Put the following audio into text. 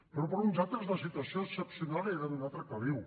però per a uns altres la situació excepcional era d’un altre caliu